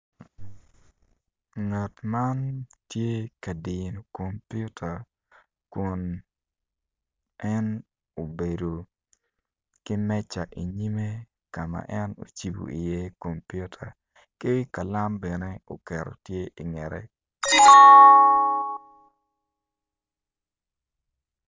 Ngat man tye ka diyo kompiuta tye ka dano aryo ma gitye ka wot i yo bene gumako jami moni i cingi nen calo gityo kwede me kwan i pii onyo me wot ki kalam bene tye oketo tye i ngete.